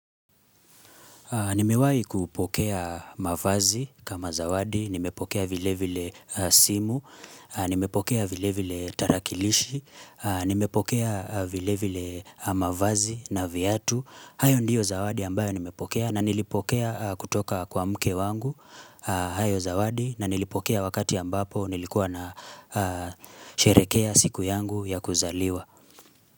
Nimewahi kupokea mavazi kama zawadi, nimepokea vile vile simu, nimepokea vile vile tarakilishi, nimepokea vile vile mavazi na viatu. Hayo ndiyo zawadi ambayo nimepokea na nilipokea kutoka kwa mke wangu, hayo zawadi, na nilipokea wakati ambapo nilikuwa na sherehekea siku yangu ya kuzaliwa.